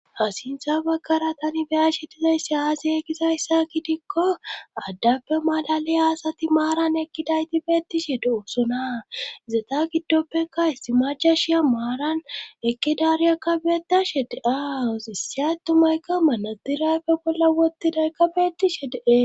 ha sintha baggara tani beya shidizayssi aasi e gisayssa gidikko addappe malali hasati maaran ekkidayti beettishe de7osona izeta giddoppeka issi majashiya maaran ekkidaariyakka beetashe de7aawus issiyhay tumayka manadirappe bolla wotidaykka beetishe de'es